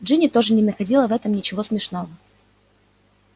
джинни тоже не находила в этом ничего смешного